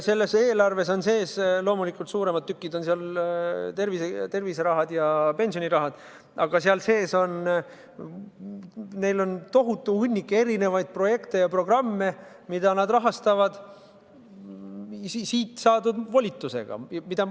Selles eelarves on neil sees – loomulikult on suuremad tükid seal tervise- ja pensionirahad – tohutu hunnik erinevaid projekte ja programme, mida nad rahastavad siit saadud volitusega.